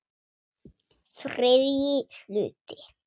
ÞRIðJI HLUTI